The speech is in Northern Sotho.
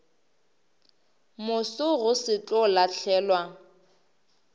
moso go se tlo lahlelwa